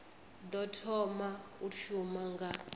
ḓo thoma u shuma nga